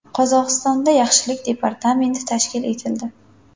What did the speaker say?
Qozog‘istonda yaxshilik departamenti tashkil etildi.